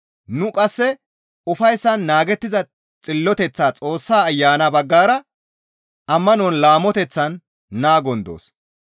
Nu qasse ufayssan naagettiza xilloteththaa Xoossa Ayana baggara ammanon laamoteththan naagon doos.